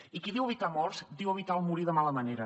i qui diu evitar morts diu evitar el morir de mala manera